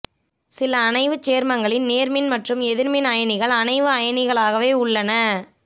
சில அணைவுச் சேர்மங்களி் நேர்மின் மற்றும் எதிர்மின் அயனிகள் அணைவு அயனிகளாவே உள்ளன